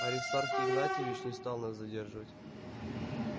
аристарх игнатьевич не стал нас задерживать